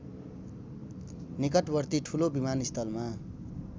निकटवर्ती ठुलो विमानस्थलमा